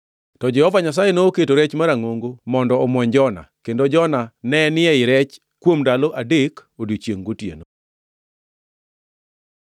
To Jehova Nyasaye nokelo rech marangʼongo mondo omwony Jona, kendo Jona nenie ei rechno kuom ndalo adek odiechiengʼ gotieno.